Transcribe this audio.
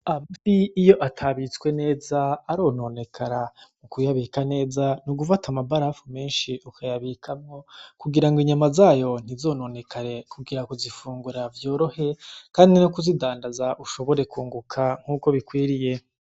Amafi iyo atabitswe neza arononekara, kuyabika neza n'ugufata amabarafu menshi ukayabikamwo, kugira ngo inyama zayo ntizononekare, kugira kuzifungura vyorohe, kandi no kuzidandaza ushobore kunguka nkuko bikwiriye.